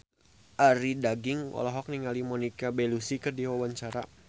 Arie Daginks olohok ningali Monica Belluci keur diwawancara